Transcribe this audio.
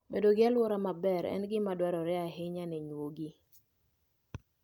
Bedo gi alwora maber en gima dwarore ahinya ne nyuogi.